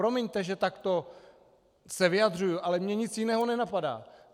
Promiňte, že se takto vyjadřuju, ale mě nic jiného nenapadá.